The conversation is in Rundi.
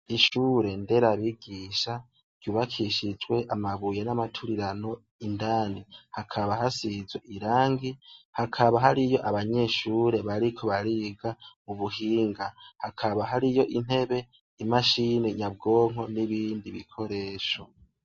Ishure ndera bigisha ryubakishijwe amabuye n'amaturirano indani hakaba hasizwe irangi hakaba hari iyo abanyeshure bariko bariga ubuhinga hakaba hari iyo intebe imashini nyabwonko n'ibindi bikoresho.